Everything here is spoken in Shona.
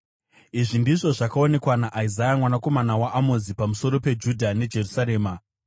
Izvi ndizvo zvakaonekwa naIsaya mwanakomana waAmozi, pamusoro peJudha neJerusarema: